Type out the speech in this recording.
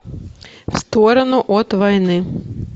в сторону от войны